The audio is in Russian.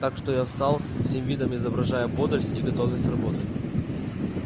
так что я встал всем видом изображая бодрость и готовность работать